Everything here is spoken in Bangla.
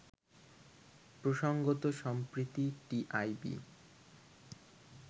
প্রসঙ্গত সম্প্রতি টিআইবি